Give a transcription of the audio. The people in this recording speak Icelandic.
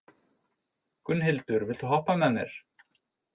Gunnhildur, viltu hoppa með mér?